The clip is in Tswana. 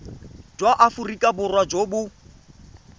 jwa aforika borwa jo bo